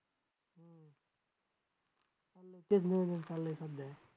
तेच नियोजन चाललंय सध्या